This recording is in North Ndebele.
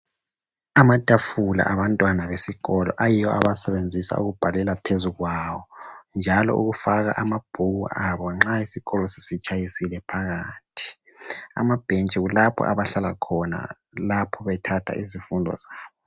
Amatafula abantwana besikolo, ayiyo abawasebenzisa ukubhalela phezu kwawo njalo ukufaka amabhuku abo nxa isikolo sesitshayisile phakathi. Ama bench kulapho abahlala khona lapho bethatha izifundo zabo.